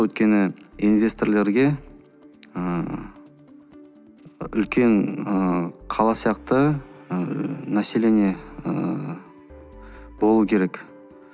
өйткені инвесторлерге ыыы үлкен ыыы қала сияқты ыыы население ыыы болу керек